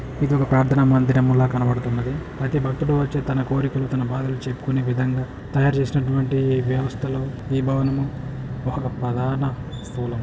ఇది ఒక ప్రార్ధన మందిరం లా కనబడుతుంది. అయితే బక్తులు వచ్చి తమ కోరికలు తమ భాదలు చెప్పుకునే విధంగా తయారు చేసినటువంటి ఈ వ్యవస్థలో ఈ భవనం ఒక ప్రధాన. ]